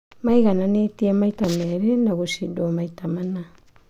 Maigananĩte maita merĩ na gũcindwo maita mana.